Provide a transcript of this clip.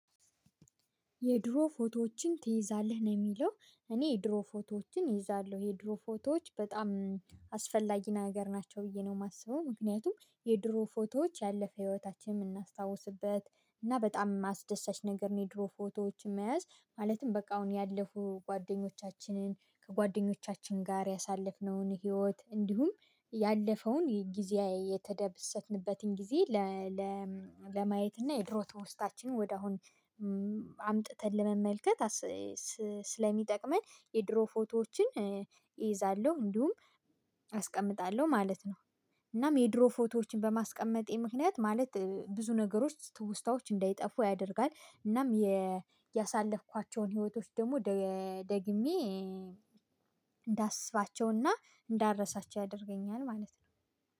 የድሮ ፎቶዎችን ትይዛለህ ነው የሚለው? እኔ የድሮ ፎቶዎችን እይዛለሁ የድሮ ፎቶዎች በጣም አስፈላጊ ነገር ናቸው ብዬ ነው የማስበው። ምክንያቱም የድሮ ፎቶዎች ያለፈ ህይወታችን የምናስታውስበት እና በጣም አስደሳች ነገር ነው። የድሮ ፎቶዎች መያዝ ማለትም በቃ አሁን ያለፉ ጓደኞቻችንን ከጓደኞቻችን ጋር ያሳለፍነውን ህይወት እንዲሁም ያለፈውን የጊዜያዊ የተደበሰትንበትን ጊዜ ለማየት እና የድሮ ተወስታችን ወደ አሁን አምጥተን ለመመልከት ስለሚጠቅመን የድሮ ፎቶዎችን እይዛለሁ እንዲሁም አስቀምጣለሁ ማለት ነው። እናም የድሮ ፎቶዎችን በማስቀመጤ ምክንያት ማለት ብዙ ነገሮች ትውስታዎች እንዳይጠፉ ያደርጋል። እናም ያሳለፍኳቸውን ህይወቶች ደግሞ ደግሜ እንዳስባቸውና እንዳረሳቸው ያደርገኛል ማለት ነው